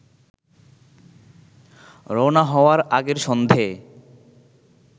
রওনা হওয়ার আগের সন্ধ্যেয়